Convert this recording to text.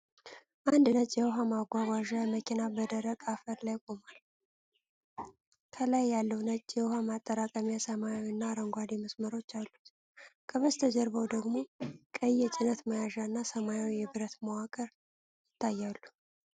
አንድ ነጭ የውሃ ማጓጓዣ መኪና በደረቅ አፈር ላይ ቆሟል። ከላይ ያለው ነጭ የውሃ ማጠራቀሚያ ሰማያዊ እና አረንጓዴ መስመሮች አሉት። ከበስተጀርባው ደግሞ ቀይ የጭነት መያዣ እና ሰማያዊ የብረት መዋቅር ይታያሉ።